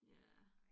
Ja